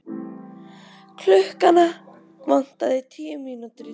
Klukkuna vantaði tíu mínútur í tólf.